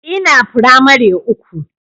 Ina firamare uku